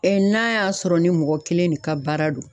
Ɛɛ n'a y'a sɔrɔ ni mɔgɔ kelen de ka baara do